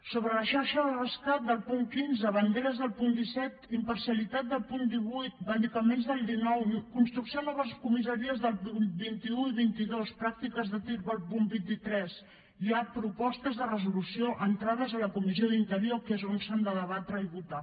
sobre la xarxa rescat del punt setze banderes del punt disset imparcialitat del punt divuit medicaments del dinou construcció de noves comissaries del vint un i vint dos pràctiques de tir del punt vint tres hi ha propostes de resolució entrades a la comissió d’interior que és on s’han de debatre i votar